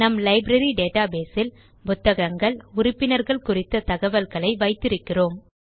நம் library database இல் புத்தகங்கள் உறுப்பினர்கள் குறித்த தகவல்களை வைத்து இருக்கிறோம்